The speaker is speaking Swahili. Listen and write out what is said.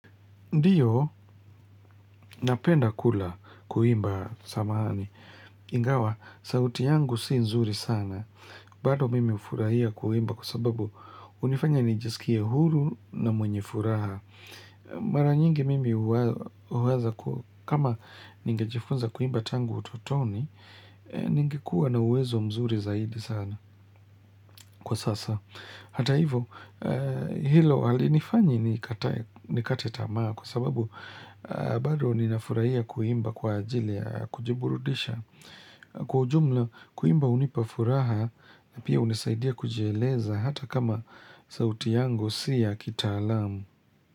Ndiyo napenda kula, kuimba samahani. Ingawa, sauti yangu sii nzuri sana. Bado mimi hufurahia kuimba kwa sababu hunifanya nijisikie huru na mwenye furaha. Mara nyingi mimi huwaza kama ningejifunza kuimba tangu utotoni, ningekuwa na uwezo mzuri zaidi sana kwa sasa. Hata hivyo, hilo halinifanyi nikatae, nikate tamaa kwa sababu bado ninafurahia kuimba kwa ajili ya kujiburudisha. Kwa ujumla kuimba hunipa furaha na pia hunisaidia kujieleza hata kama sauti yangu si ya kitaalamu.